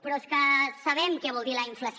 però és que sabem què vol dir la inflació